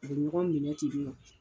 U bɛ ɲɔgɔn minɛ tenni nɔ.